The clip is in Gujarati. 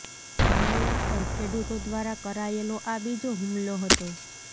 મેયર પર ખેડૂતો દ્વારા કરાયેલો આ બીજો હુમલો હતો